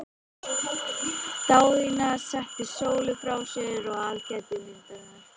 Daðína setti Sólu frá sér og aðgætti myndirnar.